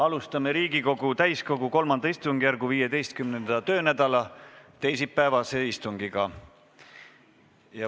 Alustame Riigikogu täiskogu III istungjärgu 15. töönädala teisipäevast istungit.